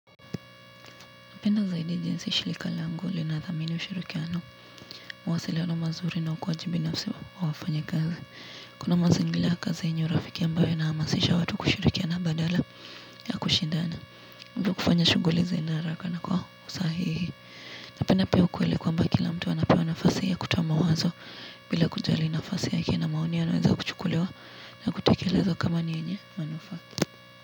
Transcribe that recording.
Napenda zaidi jinsi shilika langu linathamini ushirikiano mawasiliano mazuri na ukuwaji binafsi wa wafanya kazi. Kuna mazangila ya kazia yenye urafiki ambayo inahamasisha watu kushirikiana badala ya kushindana. Ivyo kufanya shuguli ziende haraka na kwa usahihi. Napenda pia ukuweli kwa mba kila mtu anapewa nafasi ya kutoa mawazo bila kujali nafasi yake na maoni anaweza kuchukuliwa na kutakelezwa kama ni yenye manufaa.